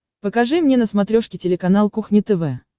покажи мне на смотрешке телеканал кухня тв